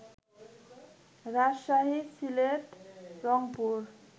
Rajshahi, Sylhet, Rangpur